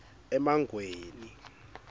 emangweni